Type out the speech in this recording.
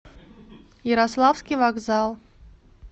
ярославский вокзал